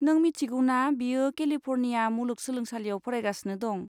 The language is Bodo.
नों मिथिगौना, बियो केलिफ'र्निया मुलुग सोलोंसालियाव फरायगासिनो दं।